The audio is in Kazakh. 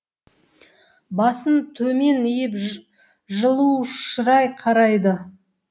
басын төмен иіп жылу шырай қарайды